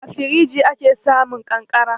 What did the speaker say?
A firinji ake samun ƙanƙara.